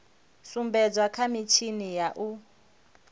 sumbedzwa kha mitshini ya u